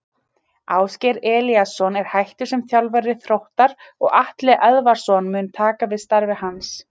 Ásgeir Elíasson er hættur sem þjálfari Þróttara og Atli Eðvaldsson mun taka við starfi hans.